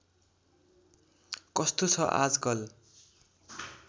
कस्तो छ आजकल